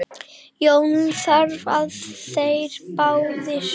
Jón þagði og þeir báðir.